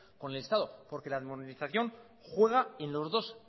con el estado porque la armonización juega en los dos